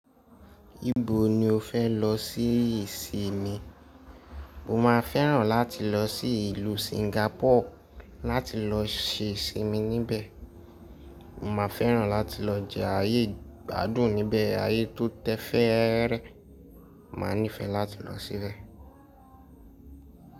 Ibo ni o fẹ́ lọ sí ìsinmi? Mo máa fẹ́ràn láti lọ sí ìlú Singapore láti lọ ṣe ìsinmi níbẹ̀. Mo máa fẹ́ràn láti lọ jẹ ayé igbadún níbẹ̀, ayé tó tẹ fẹ́rẹ́, ma níìfẹ̀ láti lọ síbẹ̀.